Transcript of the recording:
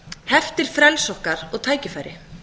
heftir frelsi okkar og tækifæri